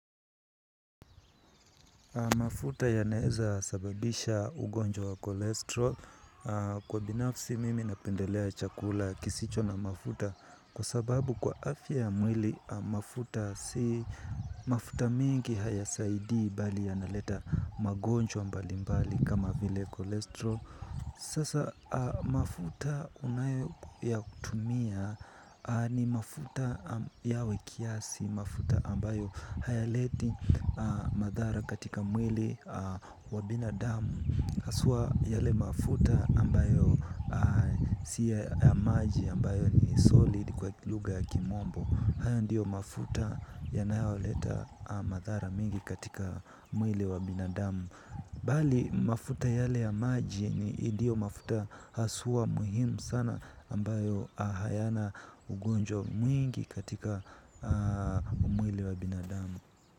Mafuta yaneweza sababisha ugonjwa wa kolesterol. Kwa binafsi mimi napendelea chakula kisicho na mafuta. Kwa sababu kwa afya ya mwili mafuta si mafuta mingi hayasaidii bali yanaleta magonjwa mbali mbali kama vile kolesterol. Sasa mafuta unayo ya kutumia ni mafuta yawe kiasi. Mafuta ambayo hayaleti madhara katika mwili wa binadamu hasa yale mafuta ambayo si ya maji ambayo ni solid kwa lugha ya kimombo. Hayo ndiyo mafuta yanayoleta madhara mingi katika mwili wa binadamu. Bali mafuta yale ya maji nidyo mafuta hasa muhimu sana ambayo hayana ugonjwa mwingi katika mwili wa binadamu.